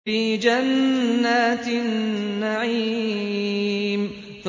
فِي جَنَّاتِ النَّعِيمِ